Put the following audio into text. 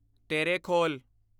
Terekhol